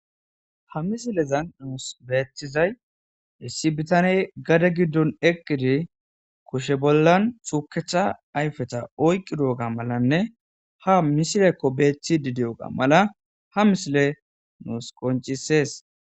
Ha misilezan nuus beeththizay issi bitaney gada giddon eqqidi kushe bollan tuukecha ayfeta oyqqi duoga malanne ha misilekko beeththi di di'oga mala ha misile nuus qoncisees.